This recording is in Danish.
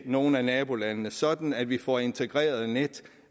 nogle af nabolandene sådan at vi får integrerede net